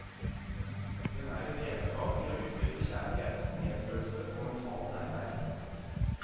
Den er et redskap til å utvikle kjærlighet, medfølelse og mentalt nærvær.